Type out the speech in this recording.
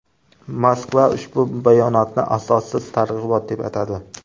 Moskva ushbu bayonotni asossiz targ‘ibot deb atadi.